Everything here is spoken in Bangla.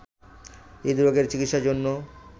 হৃদরোগের চিকিৎসার জন্য